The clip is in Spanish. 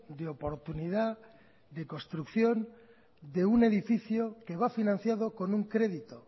de oportunidad de construcción de un edificio que va financiado con un crédito